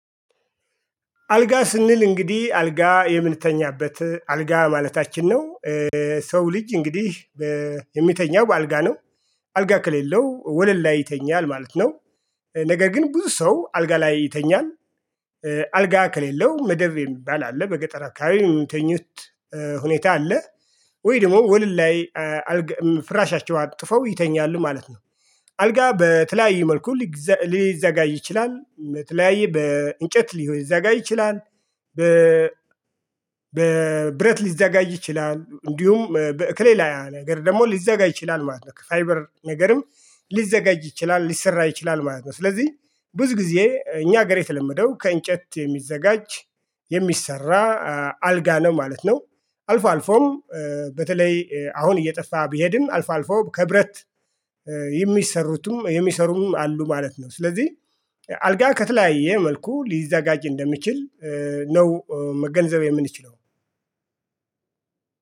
አልጋ ስንል እንግዲህ አልጋ የምንተኛበት አልጋ ማለታችን ነው። ሰው ልጅ እንግዲህ የሚተኛው በአልጋ ነው አልጋ ከሌለው ወለል ላይ ይተኛል ማለት ነው። ነገር ግን ብዙ ሰው አልጋ ላይ ይተኛል። አልጋ ከሌለው መደብ የሚባል አለ በገጠራ አካባቢ ሚተኙት ሁኔታ አለ። ወይ ደግሞ ወለል ላይ ፍራሻቸው አጥፈው ይተኛሉ ማለት ነ። አልጋ በተለያየ መልኩ ሊዘጋጅ ይችላል። በተለያየ በእንጨት ሊዮ ይዘጋጅ ይችላል በ በብረት ሊዘጋይ ይችላል እንዲሁም በእክሌ ላይ ነገር ደግሞ ሊዘጋጅ ይችላል። ማለት ነው። ፋይበር ነገርም ሊዘጋጅ ይችላል። ሊሰራ ይችላል። ማለት ነው ስለዚህ ብዙ ጊዜ እኛ ሀገር የተለመደው ከእንጨት የሚዘጋጅ የሚሰራ አልጋ ነው ማለት ነው። አልፎ አልፎም በተለይ አሁን እየጠፋ ቢሄድም አልፎ አልፎ ከብረት የሚሰሩትም የሚሰሩም አሉ ማለት ነው። ስለዚህ አልጋ ከተለያየ መልኩ ሊዘጋጅ እንደሚችል ነው። መገንዘብ የምንችለው